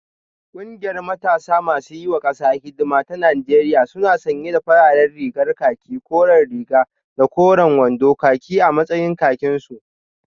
Kungiyar matasa masu yiwa kasa hidima ta Najeriya suna sanye da farar rigar khaki koren riga da koren wando khaki a matsayin kakinsu